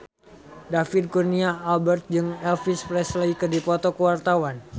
David Kurnia Albert jeung Elvis Presley keur dipoto ku wartawan